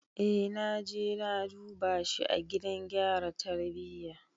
Eh naje na duba shi a gidan gyara tarbiyya.